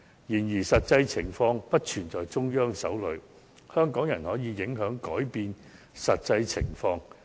然而，實際情況並不完全掌握在中央手裏，香港人亦可影響、改變實際情況。